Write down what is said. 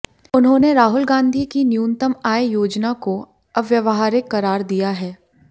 उन्होंने राहुल गांधी की न्यूनतम आय योजना को अव्यावहारिक करार दिया है